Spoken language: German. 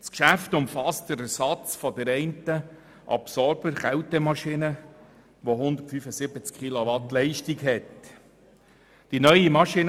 Das Geschäft umfasst den Ersatz der einen Absorberkältemaschine mit einer Leistung von 175 Kilowatt.